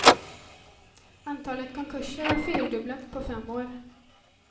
Antalet konkurser har fyrdubblats på fem år.